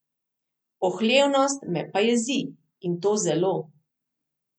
Pohlevnost me pa jezi, in to zelo.